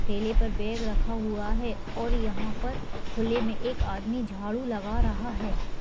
ठेले पर एक बैग रखा हुआ हैं और यहाँ पर खुले मे एक आदमी झाड़ू लगा रहा है।